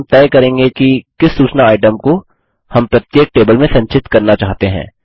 यहाँ हम तय करेंगे कि किस सूचना आइटम को हम प्रत्येक टेबल में संचित करना चाहते हैं